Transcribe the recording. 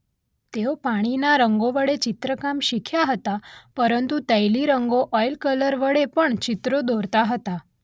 તેઓ પાણીના રંગો વડે ચિત્રકામ શીખ્યા હતા પરંતુ તૈલી રંગો ઓઇલ કલર વડે પણ ચિત્રો દોરતા હતા.